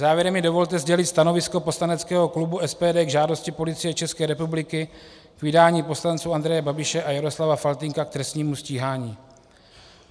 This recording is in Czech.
Závěrem mi dovolte sdělit stanovisko poslaneckého klubu SPD k žádosti Policie České republiky k vydání poslanců Andreje Babiše a Jaroslava Faltýnka k trestnímu stíhání.